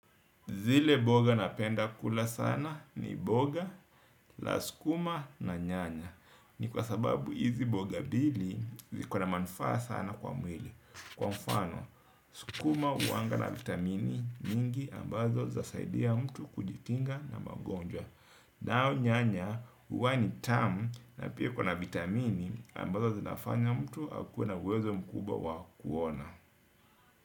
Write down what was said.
Zile mboga napenda kula sana ni mboga, la skuma na nyanya. Ni kwa sababu hizi mboga mbili ziko na manufaa sana kwa mwili. Kwa mfano, skuma huwanga na vitamini mingi ambazo za saidia mtu kujikinga na magonjwa. Nao nyanya, huwa ni tamu na pia iko na vitamini ambazo zinafanya mtu akuwe na uwezo mkubwa wa kuona.